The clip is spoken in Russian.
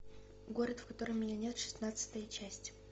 город в котором меня нет шестнадцатая часть